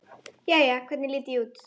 Jæja, hvernig lít ég út?